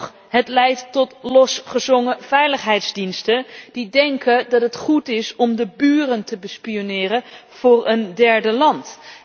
Sterker nog, het leidt tot losgezongen veiligheidsdiensten die denken dat het goed is om de buren te bespioneren voor een derde land.